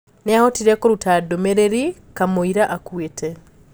Niahotire kũruta ndũmĩreri kamwira akuite.